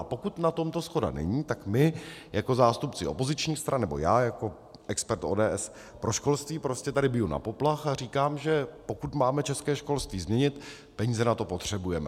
A pokud na tomto shoda není, tak my jako zástupci opozičních stran, nebo já jako expert ODS pro školství prostě tady biju na poplach a říkám, že pokud máme české školství změnit, peníze na to potřebujeme.